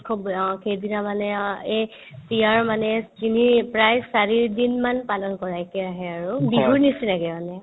উৎসৱ অ সেইদিনা মানে অ এই PR মানে তিনি প্ৰায় চাৰিদিনমান পালন কৰাই একেৰাহে আৰু বিহুৰ নিচিনাকে মানে